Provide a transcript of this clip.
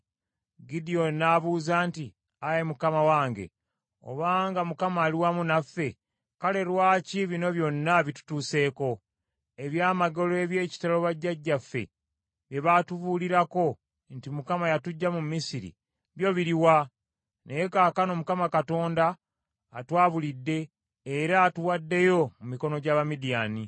Gidyoni n’abuuza nti, “Ayi Mukama wange, obanga Mukama ali wamu naffe, kale lwaki bino byonna bitutuuseeko? Eby’amagero eby’ekitalo bajjajjaffe bye baatubuulirako nti, ‘ Mukama yatuggya mu Misiri, byo biruwa?’ Naye Kaakano Mukama Katonda atwabulidde era atuwaddeyo mu mikono gy’Abamidiyaani.”